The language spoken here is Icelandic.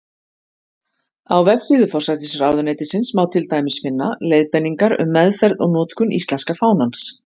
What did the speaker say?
Á vefsíðu forsætisráðuneytisins má til dæmis finna: Leiðbeiningar um meðferð og notkun íslenska fánans.